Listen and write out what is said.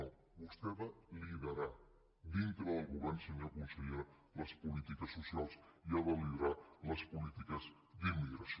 no vostè ha de liderar dintre del govern senyora consellera les polítiques socials i ha de liderar les polítiques d’immigració